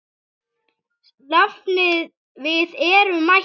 Nafni, við erum mættir